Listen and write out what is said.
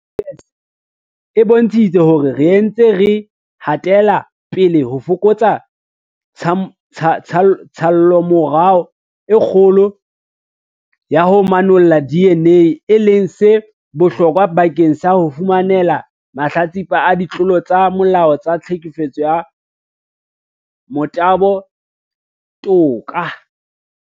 SAPS e bontshitse hore re ntse re hatela pele ho fokotsa tshallomora e kgolo ya ho manolla DNA, e leng se bohlokwa bakeng sa ho fumanela mahlatsipa a ditlolo tsa molao tsa tlhekefetso ya motabo toka.